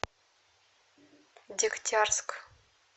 дегтярск